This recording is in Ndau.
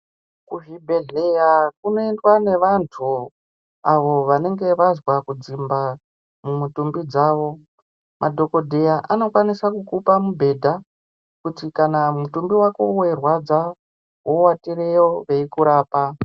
Kuzvibhedhlera kunowndwa nevantu avo vanenge vanzwa kudzimba mutumbi mavo madhokodheya anokwanisa kukupa mubhedha kuti mutumbi wako Weirwadza wowatireyo veikurapa.